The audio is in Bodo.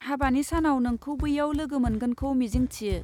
हाबानि सानाव नोंखौ बैयाव लोगो मोनगोनखौ मिजिं थियो!